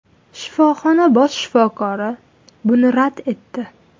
Shifoxona bosh shifokori buni rad etdi.